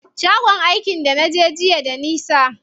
Shagon aikin da naje jiya da nisa.